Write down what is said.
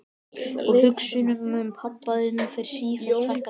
Og hugsunum um pabba þinn fer sífellt fækkandi.